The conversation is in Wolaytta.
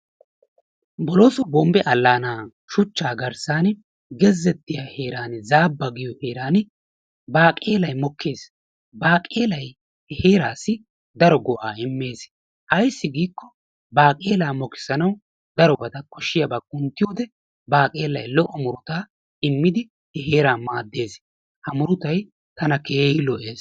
Bolooso bombbe allaana shuchchattiyaa heeran zaabbaa giyoo heeran baqeelay mokkees. baqeelay he heeraassi daro go"aa immees. Ayssi giiko baqeelaa mokkisanawu darobaa kooshiyaabaa kunttiyoode baaqelay daro murutaa immidi he heeraa maaddees. Ha murutay tana keehi lo"ees.